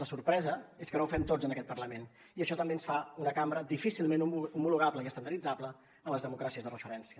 la sorpresa és que no ho fem tots en aquest parlament i això també ens fa una cambra difícilment homologable i estandarditzable a les democràcies de referència